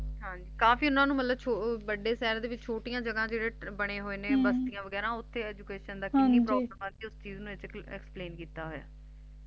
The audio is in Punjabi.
ਹਾਂਜੀ ਕਾਫੀ ਓਹਨਾ ਨੂੰ ਮਤਲਬ ਵੱਡੇ ਸ਼ਹਿਰ ਦੇ ਵਿਚ ਛੋਟੀਆਂ ਜਗਾਹ ਦੇ ਜਿਹੜੇ ਬਣੇ ਹੋਏ ਨੇ ਹਮ ਬਸਤੀਆਂ ਵਗੈਰਾ ਓਥੇ education ਦੀ ਕਿੰਨੀ ਹਾਂਜੀ problem ਆਉਂਦੀ ਉਸ ਚੀਜ ਨੂੰ Explain ਕੀਤਾ ਹੋਇਆ